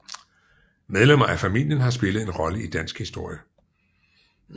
Medlemmer af familien har spillet en rolle i dansk historie